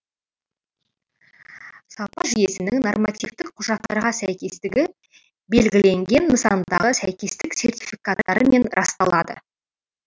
сапа жүйесінің нормативтік құжаттарға сәйкестігі белгіленген нысандағы сәйкестік сертификаттарымен расталады